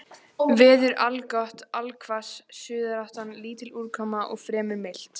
Veður allgott allhvass suðaustan lítil úrkoma og fremur milt.